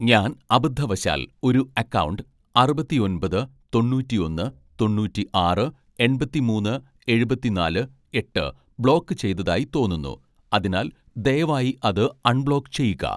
ഞാൻ അബദ്ധവശാൽ ഒരു അക്കൗണ്ട് അറുപത്തി ഒൻപത് തൊണ്ണൂറ്റിഒന്ന് തൊണ്ണൂറ്റിആറ് എണ്‍പത്തിമൂന്ന് എഴുപത്തിനാല് എട്ട് ബ്ലോക്ക് ചെയ്തതായി തോന്നുന്നു അതിനാൽ ദയവായി അത് അൺബ്ലോക്ക് ചെയ്യുക